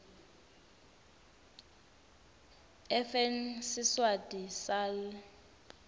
fn siswati sal